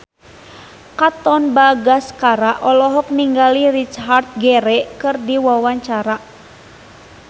Katon Bagaskara olohok ningali Richard Gere keur diwawancara